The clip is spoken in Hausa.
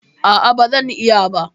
A'a, ba zan iya ba.